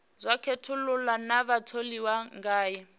sa khethulula na vhatholiwa ngae